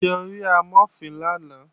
Ṣé o rí Amọ̀fin lánàá?